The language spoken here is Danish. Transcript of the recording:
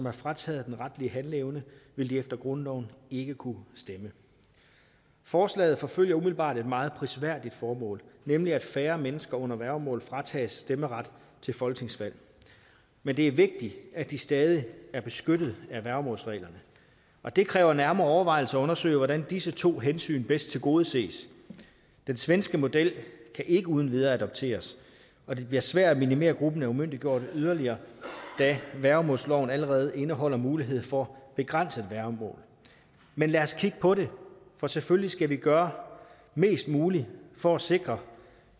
er frataget den retlige handleevne vil de efter grundloven ikke kunne stemme forslaget forfølger umiddelbart et meget prisværdigt formål nemlig at færre mennesker under værgemål fratages stemmeret til folketingsvalg men det er vigtigt at de stadig er beskyttet af værgemålsreglerne og det kræver nærmere overvejelser at undersøge hvordan disse to hensyn bedst tilgodeses den svenske model kan ikke uden videre adapteres og det bliver svært at minimere gruppen af umyndiggjorte yderligere da værgemålsloven allerede indeholder muligheden for begrænset værgemål men lad os kigge på det for selvfølgelig skal vi gøre mest muligt for at sikre